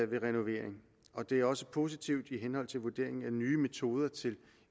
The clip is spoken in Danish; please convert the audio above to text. ved renovering og det er også positivt i henhold til vurderingen af nye metoder til